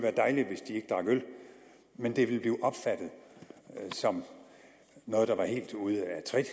men det ville blive opfattet som noget der var helt ude af trit